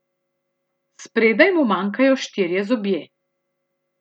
Spredaj mu manjkajo štirje zobje.